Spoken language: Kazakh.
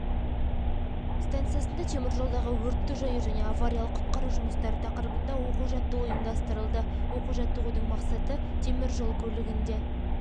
станциясында теміржолдағы өртті жою және авариялық-құтқару жұмыстары тақырыбында оқу-жаттығу ұйымдастырылды оқу-жаттығудың мақсаты темір жол көлігінде